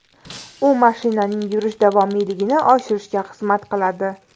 U mashinaning yurish davomiyligini oshirishga xizmat qiladi.